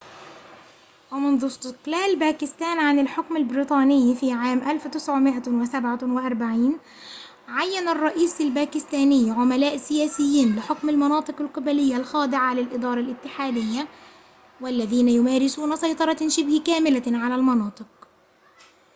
ومنذ استقلال باكستان عن الحكم البريطاني في عام 1947 عيّن الرئيس الباكستاني عملاء سياسيين لحكم المناطق القبلية الخاضعة للإدارة الاتحادية والذين يمارسون سيطرة شبه كاملة على المناطق